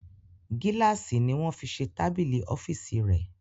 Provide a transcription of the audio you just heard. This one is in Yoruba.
Gílàsì ni wọ́n fi se tábìlì ọ́fìsì rẹ̀